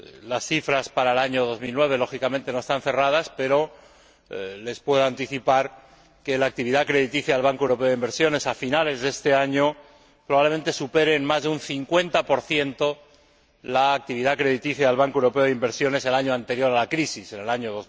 Las cifras para el año 2009 lógicamente no están cerradas, pero les puedo anticipar que la actividad crediticia del Banco Europeo de Inversiones a finales de este año probablemente supere en más de un 50 la actividad crediticia del Banco Europeo de Inversiones del año anterior a la crisis, en el año